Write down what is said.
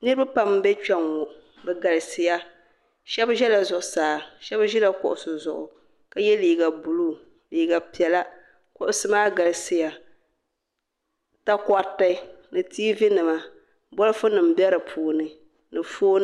niriba pam m-be kpe ŋɔ bɛ galisiya shɛba ʒela zuɣusaa shɛba ʒela kuɣisi zuɣu ka ye liiga buluu liiga piɛla kuɣisi maa galisiya takɔriti ni tiivi nima bolofu nima be di puuni ni fooni nima.